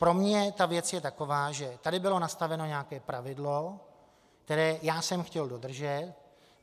Pro mě ta věc je taková, že tady bylo nastaveno nějaké pravidlo, které já jsem chtěl dodržet.